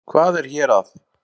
Hvað er hér að?